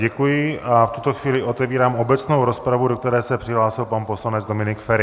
Děkuji a v tuto chvíli otevírám obecnou rozpravu, do které se přihlásil pan poslanec Dominik Feri.